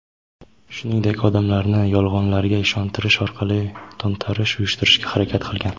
shuningdek odamlarni yolg‘onlarga ishontirish orqali to‘ntarish uyushtirishga harakat qilgan.